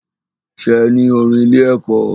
Ṣe ní orin ilé ẹ̀kọ́?